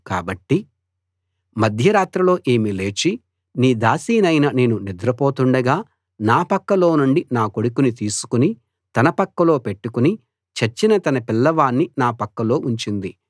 కాబట్టి మధ్య రాత్రిలో ఈమె లేచి నీ దాసినైన నేను నిద్రపోతుండగా నా పక్కలో నుండి నా కొడుకుని తీసుకుని తన పక్కలో పెట్టుకుని చచ్చిన తన పిల్లవాణ్ణి నా పక్కలో ఉంచింది